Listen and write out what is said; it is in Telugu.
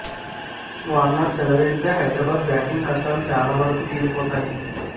వార్నర్ చెలరేగితే హైదరాబాద్ బ్యాటింగ్ కష్టాలు చాలా వరకు తీరి పోతాయి